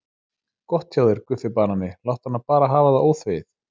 Gott hjá þér Guffi banani, láttu hana bara hafa það óþvegið.